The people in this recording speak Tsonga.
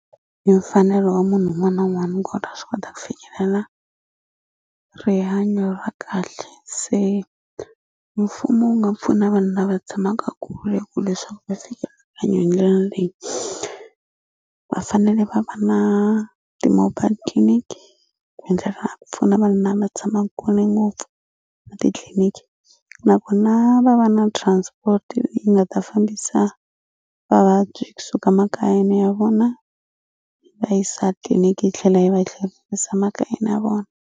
Hi mfanelo wa munhu wun'wana wun'wani kona swi kota ku fikelela rihanyo ra kahle se mfumo wu nga pfuna vanhu lava tshamaka kule ku leswaku va fika hanya hi ndlela leyi va fanele va va na ti-mobile clinic ku endlela ku pfuna vanhu lava tshamaku kule ngopfu na titliliniki nakona va va na transport yi nga ta fambisa vavabyi kusuka makayeni ya vona yi va yisa tliliniki yi tlhela yi va yi tlherisa makayeni ya vona.